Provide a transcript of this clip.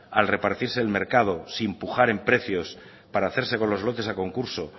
al repartirse el mercado sin pujar en precios para hacerse con los lotes a concurso